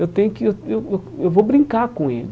Eu tenho que eu eu vou brincar com ele.